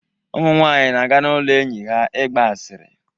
Ụmụ nwanyị na-aga n'ụlọ enyi ha ịgba asịrị